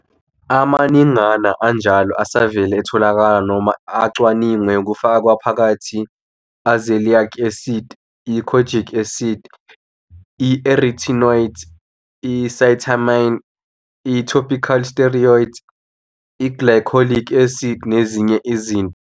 Amaningana anjalo asevele etholakala noma acwaningwe, kufaka phakathi i-azelaic acid, i-kojic acid, i'retinoids, i-cysteamine, i-topical steroids, i'glycolic acid, nezinye izinto.